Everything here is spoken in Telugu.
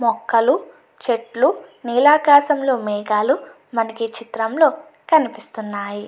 మొక్కలు చెట్లు నీలాకాశంలో మేఘాలు మనకి ఈ చిత్రంలో కనిపిస్తున్నాయి.